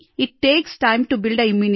इत takes time to build immunity